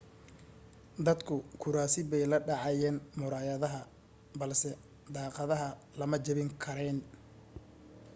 dadku kuraasi bay la dhacayeen muraayadaha balse daaqadaha lama jabin karayn